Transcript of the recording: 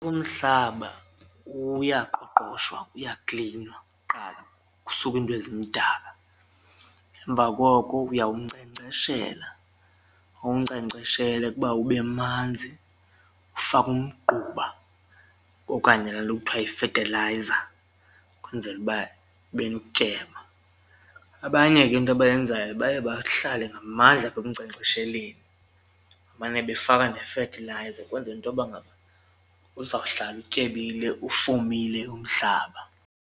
Umhlaba uyaqoqoshwa uyaklinwa kuqala kusuke iinto ezimdaka emva koko uyawunkcenkceshela, uwunkcenkceshele ukuba ube manzi ufake umgquba okanye la nto kuthiwa yifethelayiza ukwenzela uba ube nokutyeba. Abanye ke into abayenzayo baye bahlale ngamandla apha ekunkcenkcesheleni mane befaka nefethelayiza ukwenzela intoba ngaba uzawuhlala utyebile, ufumile umhlaba.